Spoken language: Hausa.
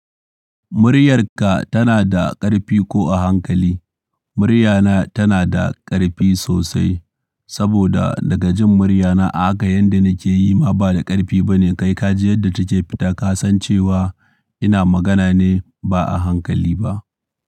Muryarka tana da ƙarfi ko a hankali? Muryana tana da ƙarfi sosai saboda daga jin muryana ahaka yadda nake yi ma ba da ƙarfi bane. Kai ka ji yadda ta ke fita ka san cewa ina magana ne ba a hankali ba.